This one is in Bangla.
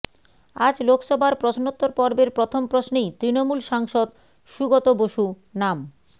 আজ লোকসভার প্রশ্নোত্তর পর্বের প্রথম প্রশ্নেই তৃণমূল সাংসদ সুগত বসু নাম